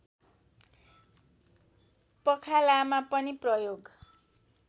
पखालामा पनि प्रयोग